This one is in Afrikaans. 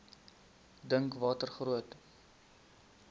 dink watter groot